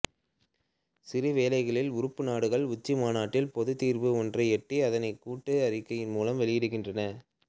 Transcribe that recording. சில வேளைகளில் உறுப்பு நாடுகள் உச்சி மாநாட்டில் பொதுத் தீர்வு ஒன்றை எட்டி அதனைக் கூட்டு அறிக்கை மூலம் வெளியிடுகின்றன